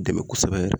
Dɛmɛ kosɛbɛ